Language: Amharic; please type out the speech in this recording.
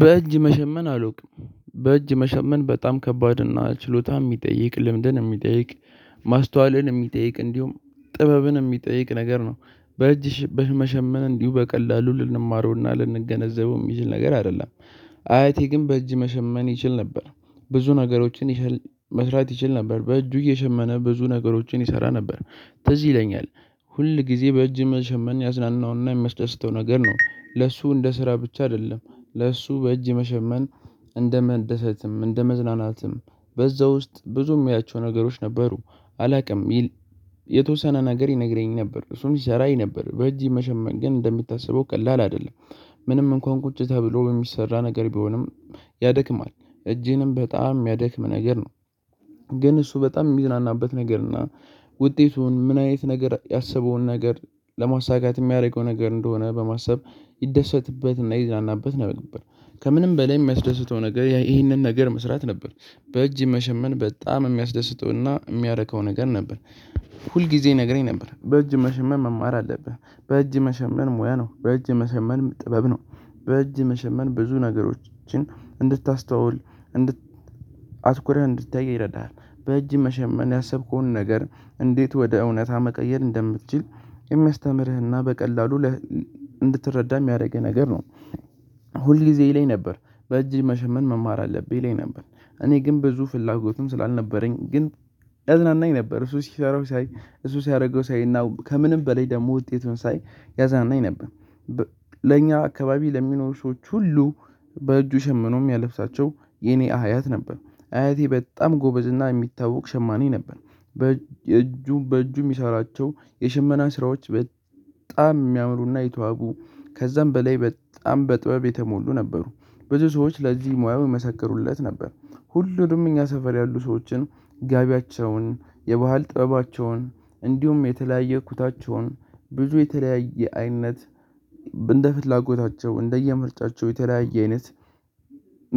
በእጅ መሸመን አላውቅም። በእጅ መሸመን በጣም ከባድ እና ችሎታ የሚጠይቅ ልምድን የሚጠይቅ ማስተዋልን የሚጠይቅ እንዲሁም ጥበብን የሚጠይቅ ነገር ነው በእጅ በመሸመን እንዲሁ በቀላሉ ልንማረውና ልንገነዘበው የሚችል ነገር አይደለም። አያቴ ግን በእጅ መሸመን ይችል ነበር ብዙ ነገሮችን መስራት ይችል ነበር በእጁ እየሸመነ ብዙ ነገሮችን ይሰራ ነበር። ትዝ ይለኛል። ሁል ጊዜ በእጅ መሸመን ያዝናናውና የሚመስደስተው ነገር ነው ለሱ እንደ ስራ ብቻ አይደለም። ለእሱ በእጅ መሸመን እንደ መደሰትም እንደ መዝናናትም በዛ ውስጥ ብዙ ሚያያቸው ነገሮች ነበሩ። አላውቅም። የተወሰነ ነገር ይነግረኝ ነበር እሱም ይሰራ ነበር በእጅ መሸመን ግን እንደሚታሰበው ቀላል አይደለም። ምንም እንኳን ቁጭ ተብሎ በሚሰራ ነገር ቢሆንም ያደክማል እጅህንም በጣም የሚያደክም ነገር ነው። ግን እሱ በጣም የሚዝናናበት ነገር እና ውጤቱን ምን አይነት ነገር ያሰበውን ነገር ለማሳካት የሚያደርገው ነገር እንደሆነ በማሰብ ይደሰትበትና ይዘናናበት ነበር። ከምንም በላይ የሚያስደስተው ነገር ይህንን ነገር መስራት ነበር። በእጅ መሸመን በጣም የሚያስደስተውና የሚያረካው ነገር ነበር። ሁል ጊዜ ይነግረኝ ነበር በእጅ መሸመን መማር አለብህ በእጅ መሸመን ሙያ ነው በእጅ የመሸመንም ጥበብ ነው። በእጅ መሸመን ብዙ ነገሮችን እንድታስተውል አትኩረህ እንድታይ ይረዳሃል። በእጅ መሸመን ያሰብከውን ነገር እንዴት ወደ እውነታ መቀየር እንደምትችል የሚያስተምርህና በቀላሉ እንድትረዳ የሚያደርግህ ነገር ነው። ሁል ጊዜ ይለኝ ነበር በእጅህ መሸመን መማር አለብህ ይለኝ ነበር። እኔ ግን ብዙ ፍላጎቱም ስላልነበረኝ ግን ያዝናናኝ ነበር እሱ ሲሰራው ሳይ እሱ ሲያደርገው ሳይ እና ከምንም በላይ ደግሞ ውጤቱን ሳይ ያዝናናኝ ነበር። ለእኛ አካባቢ ለሚኖሩ ሰዎች ሁሉ በእጁ ሸምኖ የሚያለብሳቸው የኔ አያት ነበር። አያቴ በጣም ጎበዝ እና የሚታወቅ ሸማኔ ነበር። በእጁ በእጁ የሚሰራቸው የሽመና ስራዎች። በጣም የሚያምሩና የተዋቡ ከዛም በላይ በጣም በጥበብ የተሞሉ ነበሩ። ብዙ ሰዎች ለዚህ ሙያው የመሰከሩለት ነበር። ሁሉንም እኛ ሰፈር ያሉ ሰዎችን ጋቢያቸውን የባህል ጥበባቸውን እንዲሁም የተለያየ ኩታቸውን ብዙ የተለያየ አይነት እንደ ፍላጎታቸው እንደየምርጫቸው የተለያየ አይነት